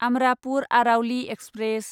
Amrapur Aravali express